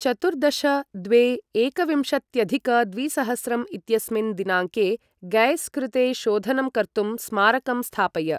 चतुर्दश द्वे एकविंशत्यधिक द्विसहस्रं इत्यस्मिन् दिनाङ्के गैस् कृते शोधनं कर्तुं स्मारकं स्थापय।